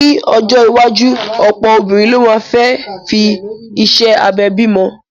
Ní ọjọ́ iwájú, ọ̀pọ̀ obìnrin ló máa fẹ́ fi iṣẹ́ abẹ bimo